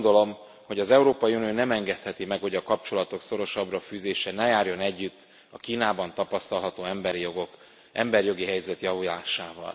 Azt gondolom, hogy az Európai Unió nem engedheti meg, hogy a kapcsolatok szorosabbra fűzése ne járjon együtt a Kínában tapasztalható emberi jogi helyzet javulásával.